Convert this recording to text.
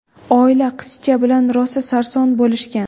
Oila qizcha bilan rosa sarson bo‘lishgan.